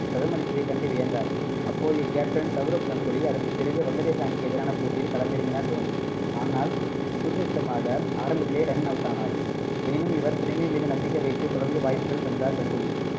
சதம் அடித்ததை கண்டு வியந்தார் அப்போதைய கேப்டன் சவ்ரவ் கங்குலி அதற்கு பிறகு வங்கதேச அணிக்கு எதிரான போட்டியில் களமிறங்கினார் தோனி. ஆனால் துர்தஷ்டமாக ஆரம்பத்திலேயே run out ஆனார் எனினும் இவர் திறமை மீது நம்பிக்கை வைத்து தொடர்ந்து வாய்ப்புகள் தந்தார் கங்குலி.